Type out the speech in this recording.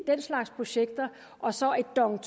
den slags projekter og så et dong